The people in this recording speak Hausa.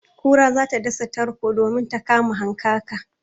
Kura za ta dasa tarko domin ta kama hankaka.